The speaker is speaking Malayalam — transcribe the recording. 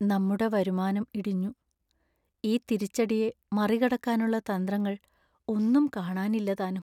നമ്മുടെ വരുമാനം ഇടിഞ്ഞു! ഈ തിരിച്ചടിയെ മറികടക്കാനുള്ള തന്ത്രങ്ങൾ ഒന്നും കാണാനില്ലതാനും.